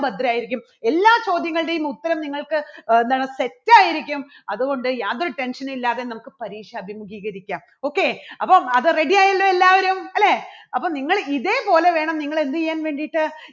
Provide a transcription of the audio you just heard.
ഭദ്രായിരിക്കും എല്ലാ ചോദ്യങ്ങളുടെയും ഉത്തരം നിങ്ങൾക്ക് അഹ് എന്താണ് set ആയിരിക്കും അതുകൊണ്ട് യാതൊരു tension ഉം ഇല്ലാതെ നമുക്ക് പരീക്ഷ അഭിമുഖീകരിക്കാം. okay അപ്പോ അത് ready ആയല്ലോ എല്ലാവരും, അല്ലേ? അപ്പോൾ നിങ്ങൾ ഇതേപോലെ വേണം നിങ്ങള് എന്ത് ചെയ്യാൻ വേണ്ടിയിട്ട്